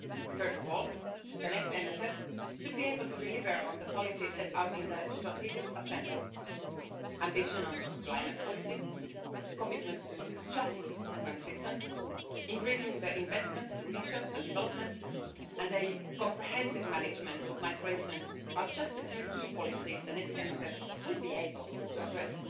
First of all, the next MFF should be able to deliver on the policies set out in the strategic agenda ambition on climate policy, commitment to just transition, increasing the investments to research and development and a comprehensive management of migration are just a few key policies the next MFF will be able to address.